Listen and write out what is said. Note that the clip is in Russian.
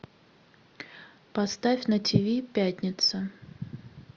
поставь на тв пятница